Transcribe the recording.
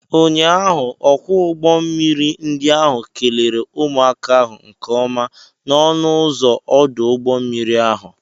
Ụnyaahụ, ọkwọ ụgbọ mmiri ndi ahụ kelere ụmụaka ahụ nke ọma n'ọnụ ụzọ ọdụ ụgbọ mmiri ahụ.